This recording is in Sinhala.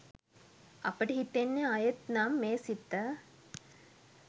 අපට හිතෙන්නෙ ආයෙත් නම් මේ සිත